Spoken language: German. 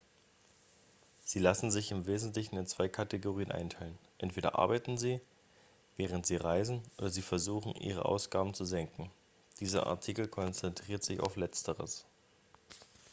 sie lassen sich im wesentlichen in zwei kategorien einteilen entweder arbeiten sie während sie reisen oder sie versuchen ihre ausgaben zu senken dieser artikel konzentriert sich auf letzteres